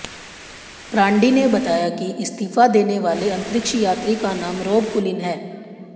brandy ने बताया कि इस्तीफा देने वाले अंतरिक्ष यात्री का नाम रोब कुलिन है